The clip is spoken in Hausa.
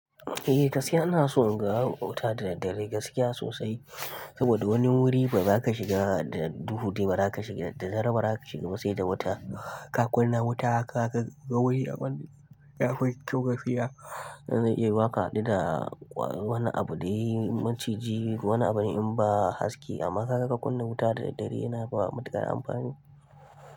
Eh, gaskiya ana son ga wuta da daddare gaskiya sosai saboda wani wuri ba za ka shiga da duhu, ba za ka shiga da dare, ba za ka shiga ba sai da wuta. Ka kunna wuta ka ga wani guri akwai gafiya. Za ka haɗu da wani abu dai maciji wani abu in ba haske amma saka ka kunna wuta da daddare yana da mutuƙar amfani.